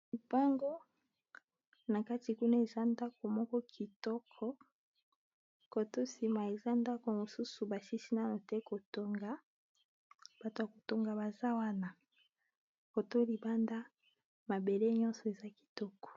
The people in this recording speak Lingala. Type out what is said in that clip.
Lopango nakati kuna pe eza na bandako ya kitoko cote oyo namoni ndako mosusu bato bazo tonga yango